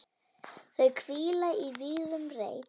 Þau hvíla í vígðum reit.